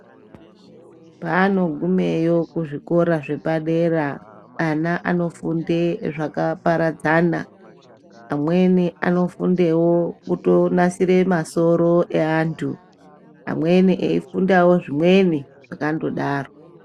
Paanogumeyo kuzvikora zvepadera, ana anofunde zvakaparadzana. Amweni anofundewo kutonasire masoro eantu, amweni eifundawo zvimweni, zvakandodaro.